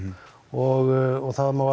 og það má